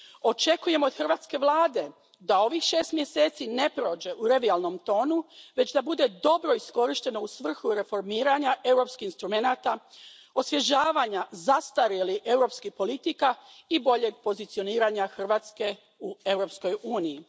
Očekujem od hrvatske vlade da ovih šest mjeseci ne prođe u revijalnom tonu, već da bude dobro iskorišteno u svrhu reformiranja europskih instrumenata, osvježavanja zastarjelih europskih politika i boljeg pozicioniranja Hrvatske u Europskoj uniji.